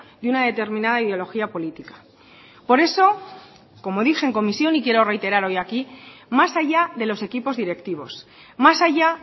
de una determinada ideología política por eso como dije en comisión y quiero reiterar hoy aquí más allá de los equipos directivos más allá